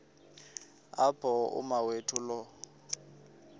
apho umawethu lo